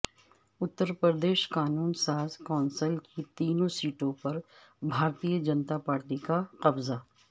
اترپردیش قانون ساز کونسل کی تینوں سیٹوں پربھارتیہ جنتا پارٹی کا قبضہ